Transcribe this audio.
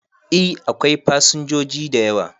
E, akwai fasinjoji da yawa.